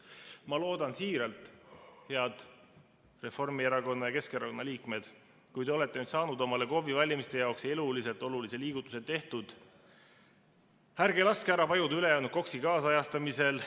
Ma loodan siiralt, head Reformierakonna ja Keskerakonna liikmed, kui te olete nüüd saanud omale KOV‑ide valimiste jaoks eluliselt olulise liigutuse tehtud, ärge laske ära vajuda ülejäänud KOKS‑i kaasajastamisel.